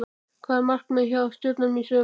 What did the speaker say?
Hvað er markmiðið hjá Stjörnunni í sumar?